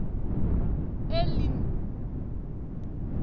elim